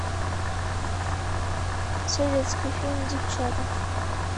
советский фильм девчата